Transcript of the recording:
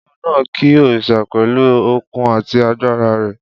Olúwo náà ki òrìṣà pẹ̀lú okun àti agbára rẹ